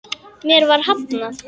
Mér var hafnað.